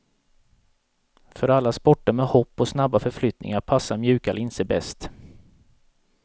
För alla sporter med hopp och snabba förflyttningar passar mjuka linser bäst.